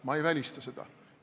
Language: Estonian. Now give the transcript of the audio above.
Ma ei välista seda.